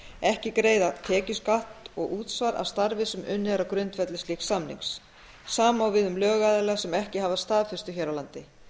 ekki greiða tekjuskatt og útsvar af starfi sem unnið er á grundvelli slíks samnings sama á við um lögaðila sem ekki hafa staðfestu hér á landi